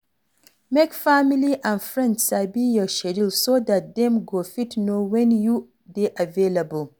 Make family and friends sabi your schedule so dat dem go fit know when you dey available